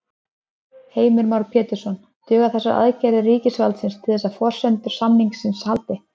Heimir Már Pétursson: Duga þessar aðgerðir ríkisvaldsins til þess að forsendur samninga haldi?